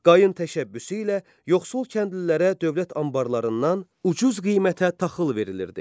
Qayın təşəbbüsü ilə yoxsul kəndlilərə dövlət anbarlarından ucuz qiymətə taxıl verilirdi.